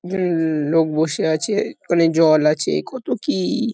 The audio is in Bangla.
উমমমম লোক বসে আছে। অনেক জল আছে কত কি।